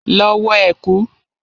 Lọ wọ ẹ̀kú!